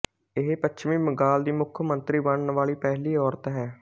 ਇਹ ਪੱਛਮੀ ਬੰਗਾਲ ਦੀ ਮੁੱਖ ਮੰਤਰੀ ਬਣਨ ਵਾਲੀ ਪਹਿਲੀ ਔਰਤ ਹੈ